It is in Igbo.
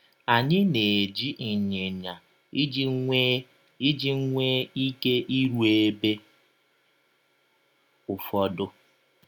Anyị na - eji ịnyịnya iji nwee iji nwee ike irụ ebe ụfọdụ.